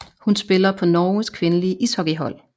Hun spiller på Norges kvindelige ishockeyhold